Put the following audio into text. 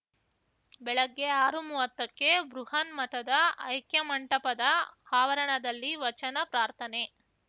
ಬೆಳಗ್ಗೆ ಆರುಮುವ್ವತ್ತಕ್ಕೆ ಬೃಹನ್ಮಠದ ಐಕ್ಯಮಂಟಪದ ಆವರಣದಲ್ಲಿ ವಚನ ಪ್ರಾರ್ಥನೆ